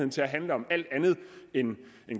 til at handle om alt andet end